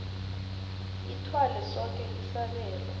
ithwale soke isabelo